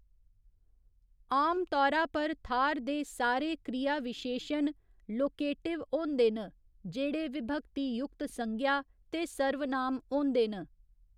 आमतौरा पर थाह्‌र दे सारे क्रियाविशेशन लोकेटिव होंदे न, जेह्ड़े विभक्ती युक्त संज्ञा ते सर्वनाम होंदे न।